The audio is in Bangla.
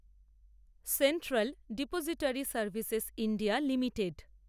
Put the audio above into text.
central depository services India limited